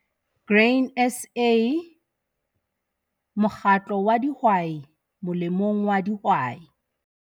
Grain SA- Mokgatlo wa dihwai molemong wa dihwai